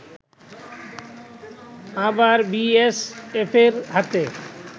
আবার বিএসএফের হাতে